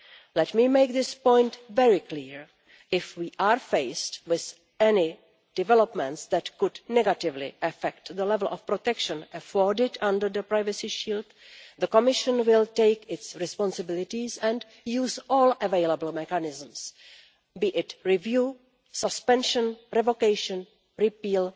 Let me make this point very clear If we are faced with any developments that could negatively affect the level of protection afforded under the Privacy Shield, the Commission will take its responsibilities and use all available mechanisms, be it review, suspension, revocation or repeal,